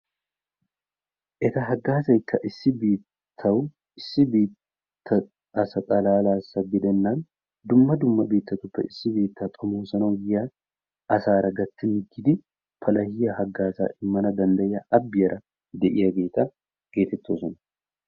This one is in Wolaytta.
Etta hagazzaykka issi biittawu issi biitta asa xallalassa gidenan dumma dumma biittatuppe issi biitta xomossanawu yiyaa asara gattidi palahiyaa hagazza imanna dandayiyaa abbiyara de'iyaagetta geetetossona.